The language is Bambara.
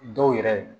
Dɔw yɛrɛ